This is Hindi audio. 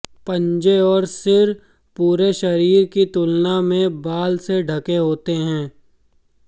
पंजे और सिर पूरे शरीर की तुलना में बाल से ढके होते हैं